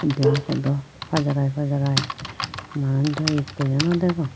diyan podo pajarai pajarai manus dow ikkoyo nodegong.